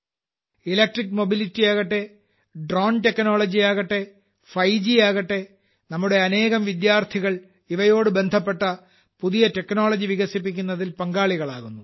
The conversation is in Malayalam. ഇലെറ്റ്ക്രിക് മൊബിൽട്ടിയ് യാകട്ടെ ഡ്രോണും ടെക്നോളജി യാകട്ടെ 5 ഗ് യാകട്ടെ നമ്മുടെ അനേകം വിദ്യാർത്ഥികൾ ഇവയോട് ബന്ധപ്പെട്ട പുതിയ ടെക്നോളജി വികസിപ്പിക്കുന്നതിൽ പങ്കാളികളാകുന്നു